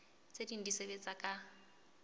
tse ding di sebetsa ka